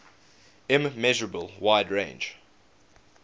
immeasurable wide range